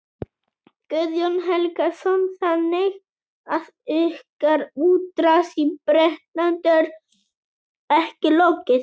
Guðjón Helgason: Þannig að ykkar útrás í Bretlandi er ekki lokið?